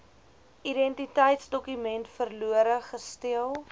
identiteitsdokument verlore gesteel